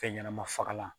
Fɛn ɲɛnɛma fagalan